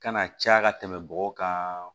Kana caya ka tɛmɛ bɔgɔ kan